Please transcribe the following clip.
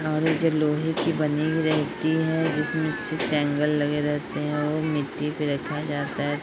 और ये जो लोहे की बनी रहती है जिसमे सिक्स एंगल लगे रहते हैं वो मिटटी पे रखा जाता है ।